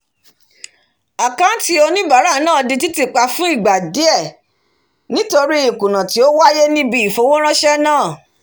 àkáàntì oníbàárà náà di títì pa fún ìgbà díẹ̀ nítorí ìkùnà tí ó wáyé níbi ìfowóránsẹ́ náà